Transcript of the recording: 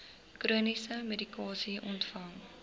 chroniese medikasie ontvang